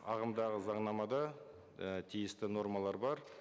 ағымдағы заңнамада і тиісті нормалар бар